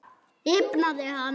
Rifnaði hann?